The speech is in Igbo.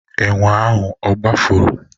Enwe ahụ ogbafuru?